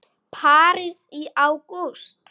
París í ágúst